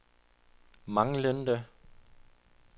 manglende